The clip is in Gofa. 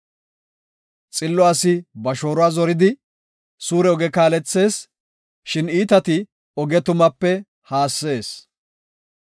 Xillo asi ba shooruwa zoridi, suure oge kaalethees; shin iitati oge tumaape haassees.